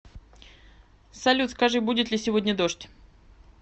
салют скажи будет ли сегодня дождь